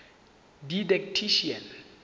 didactician